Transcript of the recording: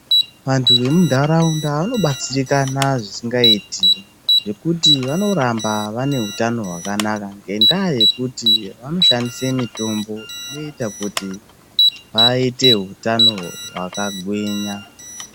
Vantu vemuntaraunda vanobatsirikana zvisingaiti ngekuti vanoramba vane utano hwakanaka ngendaa yekuti vanoshandise mitombo inoita kuti vaite utano hwakagwinya